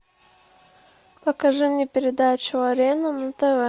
покажи мне передачу арена на тв